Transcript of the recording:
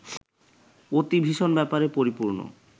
অতি ভীষণ ব্যাপারে পরিপূর্ণ